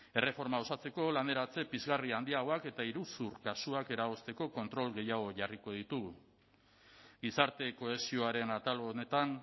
erreforma osatzeko laneratze pizgarri handiagoak eta iruzur kasuak eragozteko kontrol gehiago jarriko ditu gizarte kohesioaren atal honetan